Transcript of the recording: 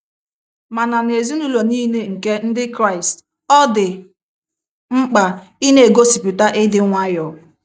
Mana n’ezinụlọ nile nke Ndị Kraịst, ọ dị mkpa ị n'egosipụta ịdị nwayọọ.